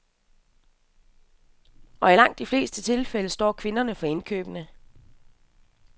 Og i langt de fleste tilfælde står kvinderne for indkøbene.